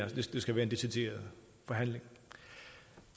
det skal være en decideret forhandling